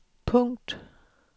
punkt